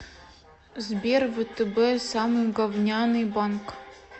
сбер втб самый говняный банк